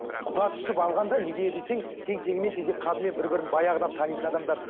құда түсіп алғанда неге десең тең теңімен тезек қабымен бір бірін баяғыдан танитын адамдар